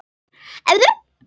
Hún hlýðir.